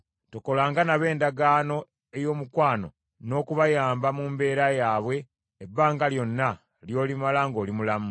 Tokolanga nabo endagaano ey’omukwano n’okubayamba mu mbeera yaabwe ebbanga lyonna ly’olimala ng’oli mulamu.